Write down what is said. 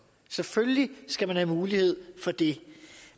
selvfølgelig skal man have mulighed for det